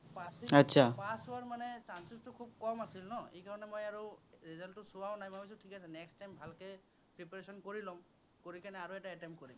pass হোৱাৰ chances টো খুব কম আছিল ন', সেই কাৰনে মই আৰু result টো চোৱাও নাই, মই ভাবিছো ঠিক আছে, next time ভালকে preparation কৰি লও, কৰি কেনে আৰু এটা attempt কৰিম।